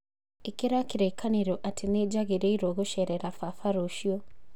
ĩkĩra kĩririkanio atĩ nĩ njagĩrĩirũo gũceerera baba rũciũ